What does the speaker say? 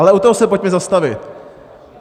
Ale u toho se pojďme zastavit.